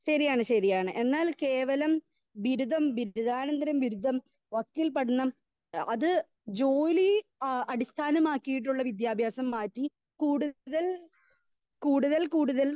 speaker 2 ശരിയാണ് ശരിയാണ് എന്നാൽ കേവലം ബിരുധം ബിരുധാനതര ബിരുധം വകീൽ പഠനം അത് ജോലി ആ അടിസ്ഥാനമാക്കിയിട്ടുള്ള വിദ്യാഭ്യാസം മാറ്റി കൂടുതൽ കൂടുതൽ കൂടുതൽ